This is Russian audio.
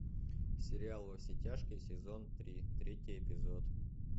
сериал во все тяжкие сезон три третий эпизод